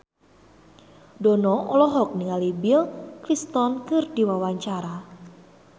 Dono olohok ningali Bill Clinton keur diwawancara